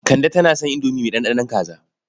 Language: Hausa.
Kande tana son indomi mai ɗanɗanon kaza.